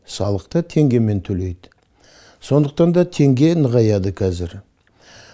салықты теңгемен төлейді сондықтан да теңге нығаяды қазір